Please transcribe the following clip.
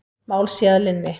Mál sé að linni.